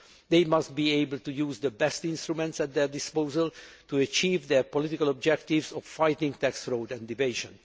further. They must be able to use the best instruments at their disposal to achieve their political objectives of fighting tax fraud and